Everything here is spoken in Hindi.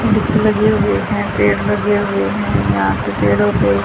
लगे हुए हैं पेड़ लगे हुए हैं यहां पे पेड़ों को--